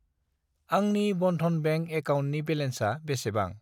आंनि बनधन बेंक एकाउन्टनि बेलेन्सा बेसेबां?